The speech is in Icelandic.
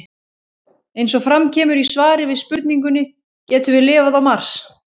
Eins og fram kemur í svari við spurningunni Getum við lifað á Mars?